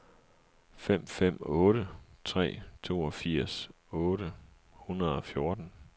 fem fem otte tre toogfirs otte hundrede og fjorten